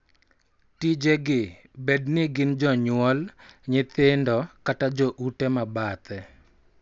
Tije gi, bed ni gin jonyuol, nyithindo, kata jo ute ma bathe,